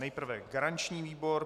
Nejprve garanční výbor.